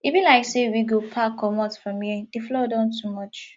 e be like sey we go pack comot from here di flood don too much